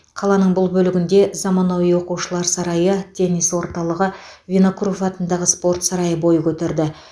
қаланың бұл бөлігінде заманауи оқушылар сарайы теннис орталығы винокуров атындағы спорт сарайы бой көтерді